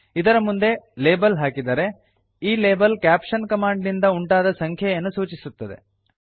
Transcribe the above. ಇದರ ಮುಂದೆ ಲೇಬಲ್ ಹಾಕಿದರೆ ಈ ಲೇಬಲ್ ಕ್ಯಾಪ್ಷನ್ ಕಮಾಂಡ್ ನಿಂದ ಉಂಟಾದ ಸಂಖ್ಯೆಯನ್ನು ಸೂಚಿಸುತ್ತದೆ